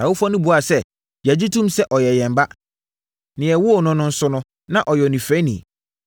Nʼawofoɔ no buaa sɛ, “Yɛgye tom sɛ ɔyɛ yɛn ba, na yɛwoo no no nso, na ɔyɛ onifirani.